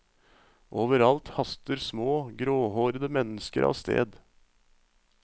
Overalt haster små, gråhårede mennesker av sted.